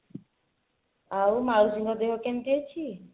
ଆଉ ମାଉସୀଙ୍କ ଦେହ କେମିତି ଅଛି